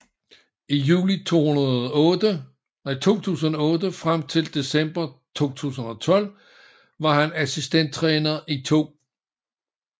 I juli 2008 frem til december 2012 var han assistenttræner i 2